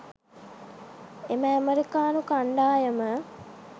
එම ඇමරිකානු කණ්ඩායම